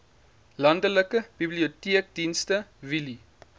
landelike biblioteekdienste wheelie